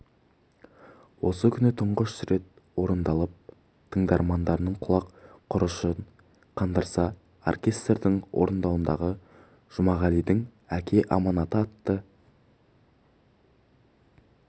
осы күні тұңғыш рет орындалып тыңдарманның құлақ құрышын қандырса оркестрдің орындауындағы жұмағалидің әке аманаты атты